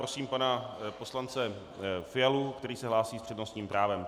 Prosím pana poslance Fialu, který se hlásí s přednostním právem.